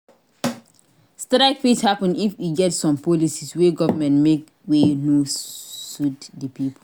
Strike fit happen if e get some policies wey government make wey no suit the pipo